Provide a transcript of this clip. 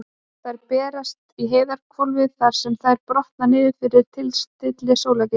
Þær berast í heiðhvolfið þar sem þær brotna niður fyrir tilstilli sólargeisla.